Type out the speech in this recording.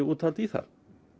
úthald í það